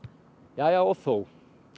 jæja og þó